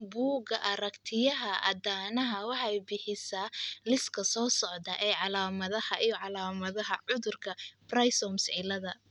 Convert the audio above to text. Bugga aragtiyaha aanadanaha waxay bixisaa liiska soo socda ee calaamadaha iyo calaamadaha cudurka 'Primrose ciilada.